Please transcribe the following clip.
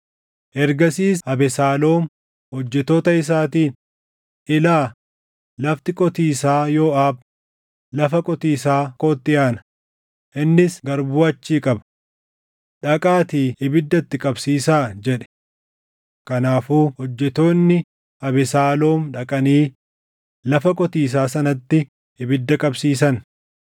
Ergasiis Abesaaloom hojjettoota isaatiin, “Ilaa, lafti qotiisaa Yooʼaab lafa qotiisaa kootti aana; innis garbuu achii qaba. Dhaqaatii ibidda itti qabsiisaa” jedhe. Kanaafuu hojjettoonni Abesaaloom dhaqanii lafa qotiisaa sanatti ibidda qabsiisan.